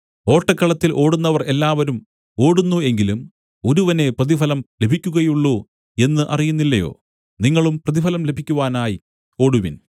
ഓട്ടക്കളത്തിൽ ഓടുന്നവർ എല്ലാവരും ഓടുന്നു എങ്കിലും ഒരുവനേ പ്രതിഫലം ലഭിക്കുകയുള്ളു എന്ന് അറിയുന്നില്ലയോ നിങ്ങളും പ്രതിഫലം ലഭിക്കുവാനായി ഓടുവിൻ